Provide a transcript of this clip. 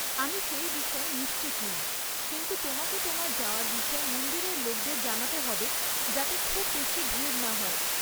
আমি সেই বিষয়ে নিশ্চিত নই, কিন্তু তোমাকে তোমার যাওয়ার বিষয়ে মন্দিরের লোকদের জানাতে হবে, যাতে খুব বেশি ভিড় না হয়।